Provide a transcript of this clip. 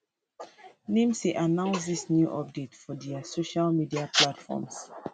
nimc announce dis new update for dia social media platforms